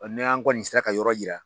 ni an kɔni sera ka yɔrɔ yira